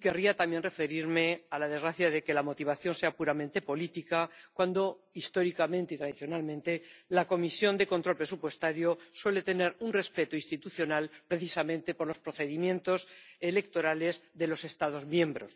Querría también referirme a la desgracia de que la motivación sea puramente política, cuando histórica y tradicionalmente la Comisión de Control Presupuestario suele tener un respeto institucional precisamente por los procedimientos electorales de los Estados miembros.